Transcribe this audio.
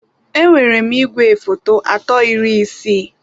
Enwere m igwefoto atọ iri isii.